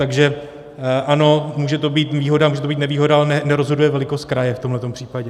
Takže ano, může to být výhoda, může to být nevýhoda, ale nerozhoduje velikost kraje v tomhle případě.